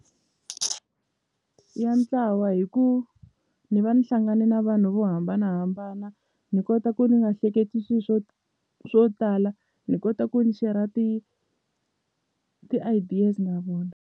Ya ntlawa hi ku ni va ni hlangane na vanhu vo hambanahambana ni kota ku ni nga hleketi swi swo swo tala ni kota ku ni share ti ti-ideas na vona.